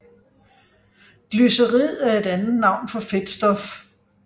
Glycerid er et andet navn for fedtstof